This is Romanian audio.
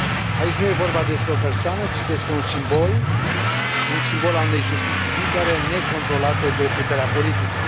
Aici nu e vorba despre o persoană, ci despre un simbol un simbol al unei justiții libere, necontrolate de puterea politică.